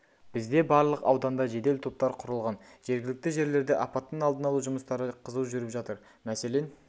бізде барлық ауданда жедел топтар құрылған жергілікті жерлерде апаттың алдын алу жұмыстары қызу жүріп жатыр мәселен